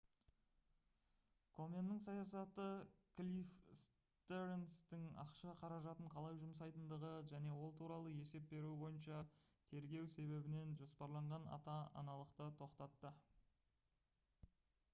коменнің саясаты клифф стернстің ақша қаражатын қалай жұмсайтындығы және ол туралы есеп беруі бойынша тергеу себебінен жоспарланған ата-аналықты тоқтатты